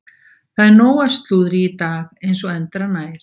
Það er nóg af slúðri í dag eins og endranær.